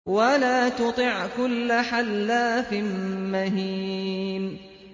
وَلَا تُطِعْ كُلَّ حَلَّافٍ مَّهِينٍ